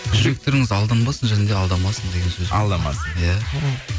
жүректеріңіз алданбасын және де алдамасын деген сөз алдамасын иә